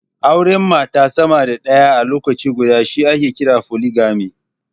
Auren mata sama da ɗaya a lokaci guda shi ake kira foligami.